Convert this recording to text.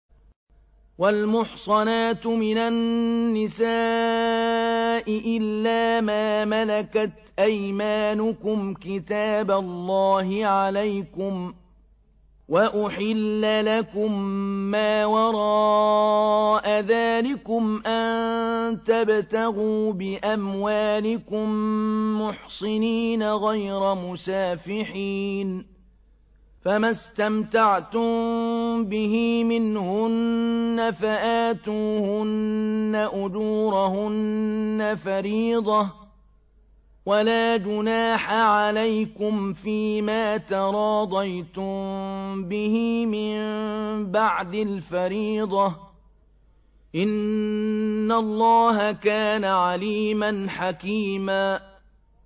۞ وَالْمُحْصَنَاتُ مِنَ النِّسَاءِ إِلَّا مَا مَلَكَتْ أَيْمَانُكُمْ ۖ كِتَابَ اللَّهِ عَلَيْكُمْ ۚ وَأُحِلَّ لَكُم مَّا وَرَاءَ ذَٰلِكُمْ أَن تَبْتَغُوا بِأَمْوَالِكُم مُّحْصِنِينَ غَيْرَ مُسَافِحِينَ ۚ فَمَا اسْتَمْتَعْتُم بِهِ مِنْهُنَّ فَآتُوهُنَّ أُجُورَهُنَّ فَرِيضَةً ۚ وَلَا جُنَاحَ عَلَيْكُمْ فِيمَا تَرَاضَيْتُم بِهِ مِن بَعْدِ الْفَرِيضَةِ ۚ إِنَّ اللَّهَ كَانَ عَلِيمًا حَكِيمًا